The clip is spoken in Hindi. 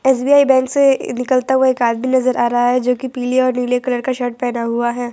एस_बी_आई बैंक से निकलता हुआ एक आदमी नजर आ रहा है जो की पीले और नीले कलर का शर्ट पहना हुआ है।